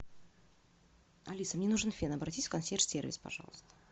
алиса мне нужен фен обратись в консьерж сервис пожалуйста